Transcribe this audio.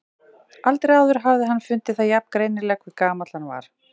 Aldrei áður hafði hann fundið það jafn greinilega hve gamall hann var.